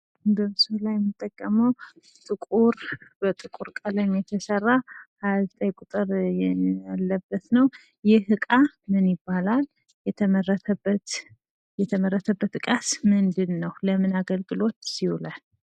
በምስሉ ላይ የምንመለከተው ጥቁር በጥቁር ቀለም የተሰራ ፅሃያ ዘጠኝ ቁጥር ያለበት ነው። ይህን እቃ ምን ይባላል የተመረጠበትስ እቃ ምንድን ነው? ለምን አገልግሎትስ ይውላል?